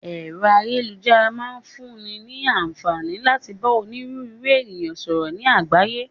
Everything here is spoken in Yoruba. Ẹ̀rọ ayélujára máa ń fún ní ní àǹfààní láti bá òníru ńru ènìyàn sọ̀rọ̀ ni àgbáyé.